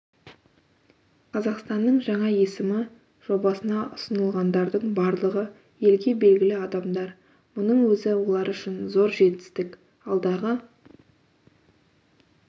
қазақстанның жаңа есімі жобасына ұсынылғандардың барлығы елге белгілі адамдар мұның өзі олар үшін зор жетістік алдағы